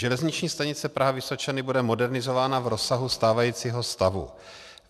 Železniční stanice Praha-Vysočany bude modernizována v rozsahu stávajícího stavu.